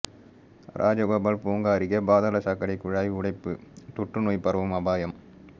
ராஜகோபால் பூங்கா அருகே பாதாள சாக்கடை குழாய் உடைப்பு தொற்று நோய் பரவும் அபாயம்